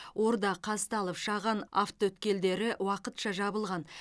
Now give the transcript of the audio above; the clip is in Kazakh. орда қазталов шаған автоөткелдері уақытша жабылған